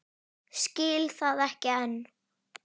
Skil það ekki enn.